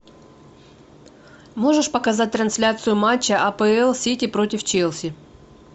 можешь показать трансляцию матча апл сити против челси